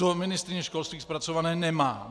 To ministryně školství zpracované nemá.